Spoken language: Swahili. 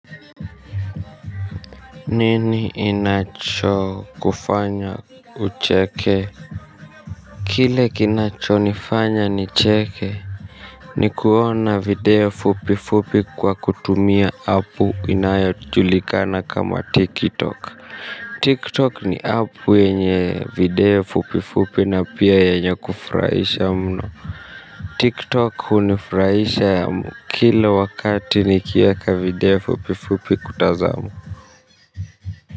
Nini inachokufanya ucheke. Kile kinachonifanya nicheke ni kuona video fupi fupi kwa kutumia app inayojulikana kama tiktok TikTok ni app yenye video fupi fupi na pia yenye kufurahisha mno TikTok hunifurahisha kila wakati nikiweka video fupi fupi kutazama.